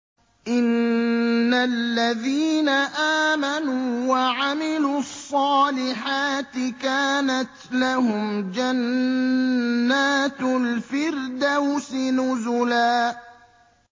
إِنَّ الَّذِينَ آمَنُوا وَعَمِلُوا الصَّالِحَاتِ كَانَتْ لَهُمْ جَنَّاتُ الْفِرْدَوْسِ نُزُلًا